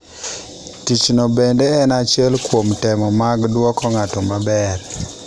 Tichno bende en achiel kuom temo mag dwoko ng’ato maber.